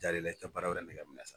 i tɛ baara wɛrɛ yɛrɛ nɛgɛ minɛ sa